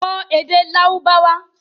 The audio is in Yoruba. Kọ́ èdè Lárúbáwá!